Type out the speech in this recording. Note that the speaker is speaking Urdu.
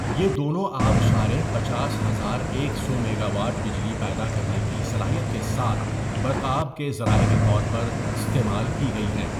یہ دونوں آبشاریں پچاس ہزار ایک سو میگاواٹ بجلی پیدا کرنے کی صلاحیت کے ساتھ برقآب کے ذرائع کے طور پر استعمال کی گئی ہیں.